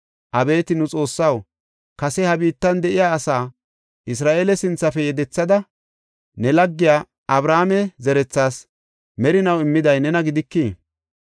Abeeti nu Xoossaw, kase ha biittan de7iya asaa, Isra7eele sinthafe yedethada ne laggiya Abrahaame zerethaas merinaw immiday nena gidikii?